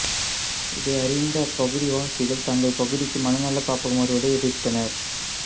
இதையறிந்த அப்பகுதிவாசிகள் தங்கள் பகுதிக்கு மனநலக் காப்பகம் வருவதை எதிர்த்தனர்